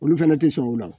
Olu fɛnɛ tɛ sɔn o la